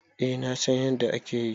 Eh na San yanda akeyi.